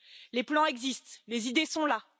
Les plans existent et les idées sont là